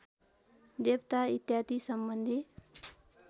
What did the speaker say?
देवता इत्यादि सम्बन्धी